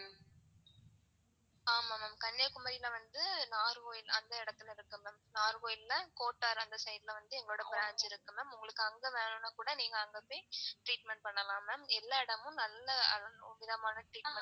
ஆமா ma'am கன்னியாகுமாரி லவந்து நாகர்கோயில் அந்த இடத்துல இருக்கு. நாகர்கோயில் ல கேட்டார். அந்த side ல எங்களோட branch இருக்கு ma'am. உங்களுக்கு அங்க வேணுனா கூட நீங்க வந்து treatment பண்ணலாம் ma'am எல்லா இடமும் நல்ல treatment